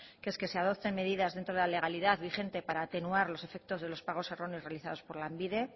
que es que se adopten medidas dentro de la legalidad vigente para atenuar los efectos de los pagos erróneos realizados por lanbide